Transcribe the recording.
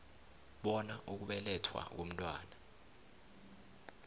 bona ukubelethwa komntwana